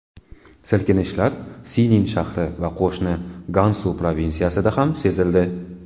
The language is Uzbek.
Silkinishlar Sinin shahri va qo‘shni Gansu provinsiyasida ham sezildi.